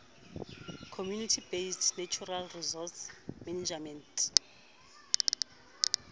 community based natural resource management